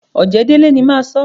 Ọ̀jẹ̀délé ni máa sọ́.